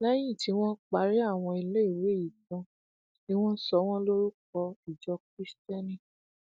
lẹyìn tí wọn parí àwọn iléèwé yìí tán ni wọn sọ wọn lórúkọ ìjọ kristẹni